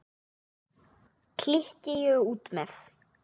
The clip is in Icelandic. klykki ég út með.